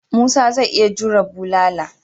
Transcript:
Musa zai iya jure bulala.